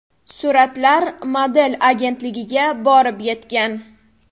Suratlar model agentligiga borib yetgan.